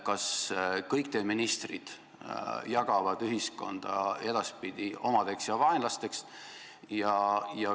Kas kõik teie ministrid jagavad ühiskonna edaspidi omadeks ja vaenlasteks?